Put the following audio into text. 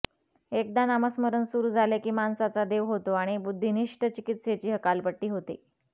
एकदा नामस्मरण सुरु झाले कि माणसाचा देव होतो आणि बुद्धीनिष्ठ चिकित्सेची हकालपट्टी होते